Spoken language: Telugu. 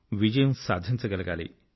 విజయం సాధించగలగాలి